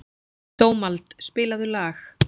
Dómald, spilaðu lag.